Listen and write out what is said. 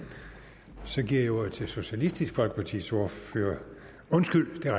så giver jeg ordet til socialistisk folkepartis ordfører undskyld det